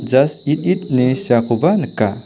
jas it it ine seakoba nika.